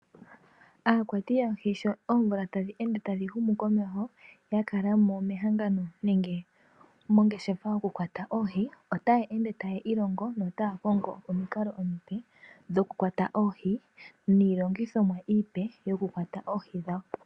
Aakwati yoohi sho omvula tadhi ende tadhi humu komeho, yakalamo mehangano nenge mongeshefa yokukwata oohi otaya ende taya iilongo notaya kongo omikalo dhimwe dhokukwata oohi, niilongithomwa iipe yokukwata oohi dhawo.